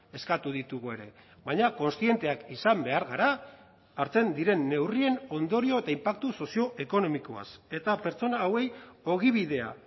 eskatu ditugu ere baina kontzienteak izan behar gara hartzen diren neurrien ondorio eta inpaktu sozioekonomikoaz eta pertsona hauei ogibidea